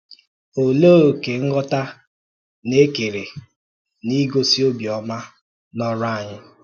Òlee òkè nghọ́tà na-ekèrè n’igosi ọ̀bịọ́mà n’ọrụ anyị?